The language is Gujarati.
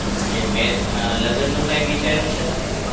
અને મેં અમ લગ્નનું કાંઈ વિચાર્યું છે તમે?